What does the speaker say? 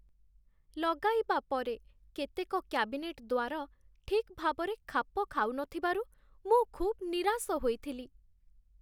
ଲଗାଇବା ପରେ କେତେକ କ୍ୟାବିନେଟ୍ ଦ୍ୱାର ଠିକ୍ ଭାବରେ ଖାପ ଖାଉନଥିବାରୁ ମୁଁ ଖୁବ୍ ନିରାଶ ହୋଇଥିଲି।